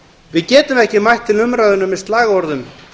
við getum ekki mætt til umræðunnar með slagorðum